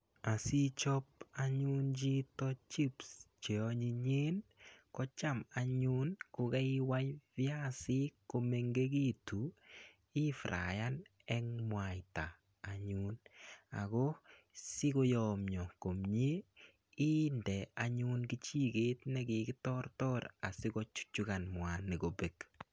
Asichop anyun chito chips cheanyinyen, kocham anyun kokaiwai viasik komengegitu ifyayan eng mwaita anyun. Ako sikoyomio komie inde anyun kichiket nekikitortor asikochuchukan mwaita kobelk.